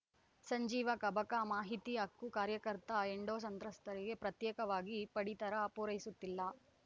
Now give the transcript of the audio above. ಸಂಜೀವ ಕಬಕ ಮಾಹಿತಿ ಹಕ್ಕು ಕಾರ್ಯಕರ್ತ ಎಂಡೋ ಸಂತ್ರಸ್ತರಿಗೆ ಪ್ರತ್ಯೇಕವಾಗಿ ಪಡಿತರ ಪೂರೈಸುತ್ತಿಲ್ಲ